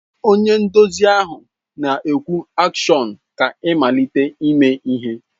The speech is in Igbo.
Onye nduzi na-ekwu AKSHỌN ka ịmalite ime ihe.